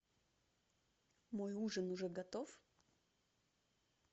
мой ужин уже готов